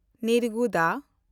ᱱᱤᱨᱜᱩᱲᱟ